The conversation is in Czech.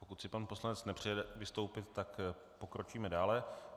Pokud si pan poslanec nepřeje vystoupit, tak pokročíme dále.